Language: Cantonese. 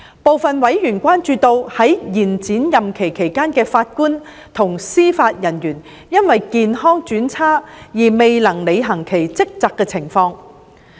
部分委員關注到在延展任期期間的法官及司法人員因為健康轉差而未能履行其職責的情況。